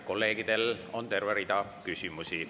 Kolleegidel on terve rida küsimusi.